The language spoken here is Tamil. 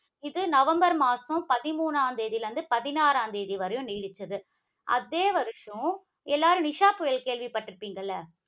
இது நவம்பர் மாதம் பதிமூன்றாம் தேதியில் இருந்து, பதினாறாம் தேதி வரையும் நீடித்தது. அதே வருஷம் எல்லாரும் நிஷா புயல் கேள்விப்பட்டிருப்பீங்க இல்ல?